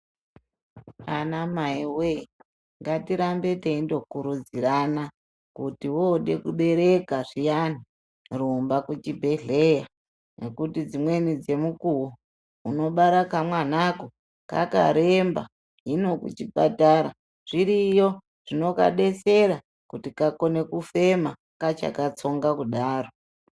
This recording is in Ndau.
Ana mai wee ngatirambe teindokurudzirana kuti wode kubereka zviyani rumba kuchibhedhleya nekuti dzimweni dzemukuwo unobara kamwanako kakaremba hino kuchipatara zviriyo zvinokadesera kuti kakone kufema kachakatsonga kudaro.